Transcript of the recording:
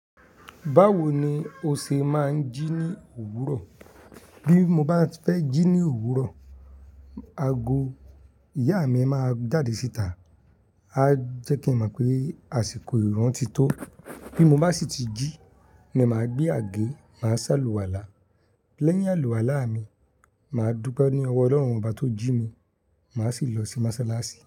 Báwo ni o ṣe máa ń jí ní òwúrọ̀? Bí mo báti fẹ́ jí ní òwúrọ̀, ago ìyá mi máa ń jáde síta, á jẹ́ kí a mọ̀ pé àsìkò ìrunntí tó. Bí mo bá sì ti jí ni màá gbé àgé, màá ṣáàlù wálà. Lẹ́yìn àlùwàlá mi, màá dúpẹ́ ní ọwọ́ Ọlọ́run bá tó jí mi, màá sì lọ sí mọ́sálásí.